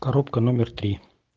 коробка номер три